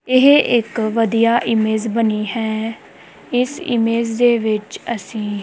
ਇਹ ਇੱਕ ਵਧੀਆ ਇਮੇਜ ਬਣੀ ਹੈ ਇਸ ਇਮੇਜ ਦੇ ਵਿੱਚ ਅਸੀ--